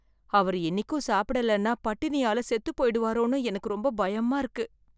அவர் இன்னிக்கும் சாப்பிடலைன்னா பட்டினியால செத்து போய்டுவாரோன்னு எனக்கு ரொம்ப பயமா இருக்கு.